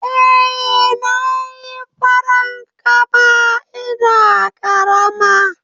Eh, Nayi farankama ina ƙarama